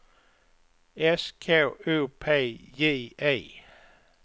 S K O P J E